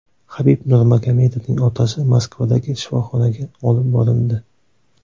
Habib Nurmagomedovning otasi Moskvadagi shifoxonaga olib borildi.